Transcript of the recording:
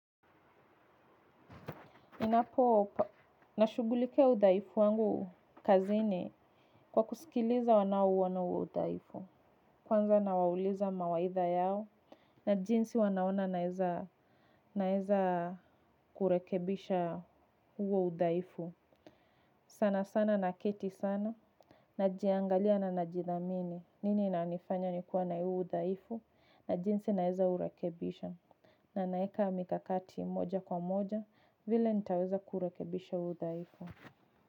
Inapo, nashugulikia udhaifu wangu kazini kwa kusikiliza wanao uonahuo udhaifu. Kwanza nawauliza mawaidha yao na jinsi wanaona naeza kurekebisha huo udhaifu. Sana sana naketi sana najiangalia na najidhamini nini inanifanya nikuwe na huu udhaifu na jinsi naeza urekebisha. Na naeka mikakati moja kwa moja vile nitaweza kurekebisha udhaifu.